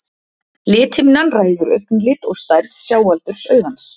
Lithimnan ræður augnlit og stærð sjáaldurs augans.